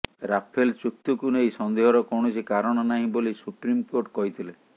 Rafale ଚୁକ୍ତିକୁ ନେଇ ସନ୍ଦେହର କୌଣସି କାରଣ ନାହିଁ ବୋଲି ସୁପ୍ରିମ୍ କୋର୍ଟ କହିଥିଲେ